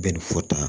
Bɛn ni fota